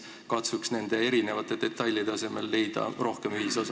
Katsuks nende detailide asemel leida rohkem ühisosa.